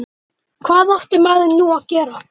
Hann hugsaði um það hvernig henni liði.